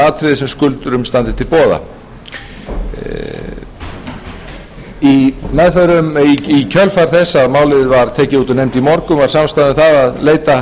atriði sem skuldurum standa til boða í kjölfar þess að málið var tekið út úr nefnd í morgun var samstaða um það að leita